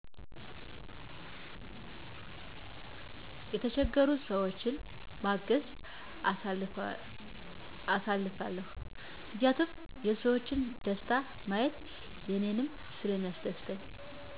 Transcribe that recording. የተቸገሩ ሰዎችን በማገዝ አሳልፋለው ምክንያቱም የሰዎችን ደስታ ማየት እኔንም ሰለሚያስደስተኝ